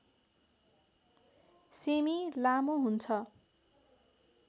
semi लामो हुन्छ